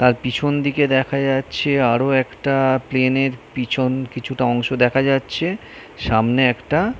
তার পিছন দিকে দেখা যাচ্ছে আরো একটা প্লেন -এর পিছন কিছুটা অংশ দেখা যাচ্ছে সামনে একটা --